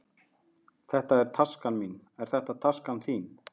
Þetta er taskan mín. Er þetta taskan þín?